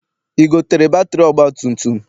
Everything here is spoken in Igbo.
I gotere batịrị ọgbatumtum?